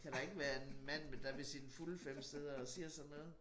Kan da ikke være en mand der ved sine fulde 5 sidder og siger sådan noget